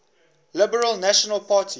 liberal national party